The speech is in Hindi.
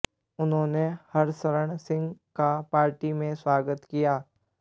उन्होंने हरशरण सिंह का पार्टी में स्वागत किया